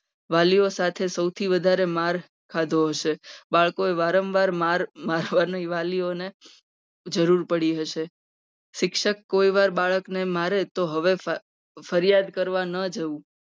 વાલીઓ સાથે સૌથી વધારે માર ખાધો હશે. બાળકોએ વારંવાર માર મારવાની વાલીઓને જરૂર પડી હશે. શિક્ષક કોઈ વાર બાળકને મારે તો હવે ફરિ ફરિયાદ કરવાના જવું.